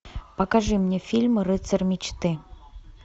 покажи мне фильм рыцарь мечты